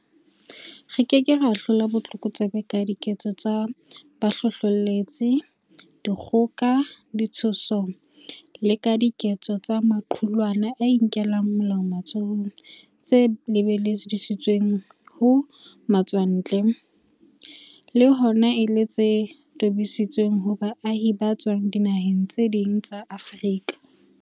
Re ke ke ra hlola botlokotsebe ka diketso tsa bohlohleletsi, dikgoka, ditshoso le ka diketso tsa maqulwana a inkelang molao matsohong tse lebisitsweng ho matswa ntle, le hona e le tse tobisitsweng ho baahi ba tswang dinaheng tse ding tsa Afrika.